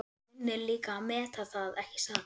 Þú kunnir líka að meta það, ekki satt?